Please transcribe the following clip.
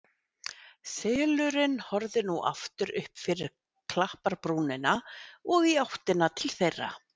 Selurinn horfði nú aftur upp fyrir klapparbrúnina og í áttina til þeirra.